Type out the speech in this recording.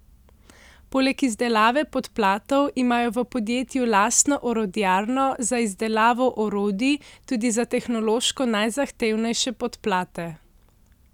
Poleg izdelave podplatov imajo v podjetju lastno orodjarno za izdelavo orodij tudi za tehnološko najzahtevnejše podplate.